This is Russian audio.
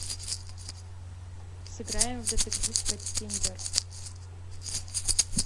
сыграем в детектив каттиндер